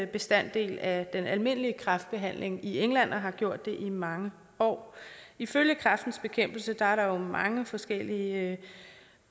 bestanddel af den almindelige kræftbehandling i england og har gjort det i mange år ifølge kræftens bekæmpelse er der mange forskellige